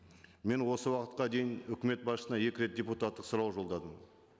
мен осы уақытқа дейін үкімет басшысына екі рет депутаттық сұрау жолдадым